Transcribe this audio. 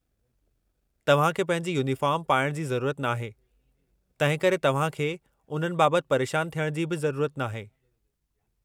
तव्हां खे पंहिंजी यूनीफ़ार्म पाइण जी ज़रूरत नाहे, तंहिंकरे तव्हां खे उन्हनि बाबति परेशान थियण जी बि ज़रूरत नाहे।